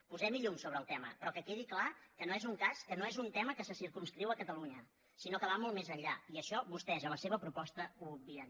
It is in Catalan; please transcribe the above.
posem hi llum sobre el tema però que quedi clar que no és un tema que se circumscriu a catalunya sinó que va molt més enllà i això vostès a la seva proposta ho obvien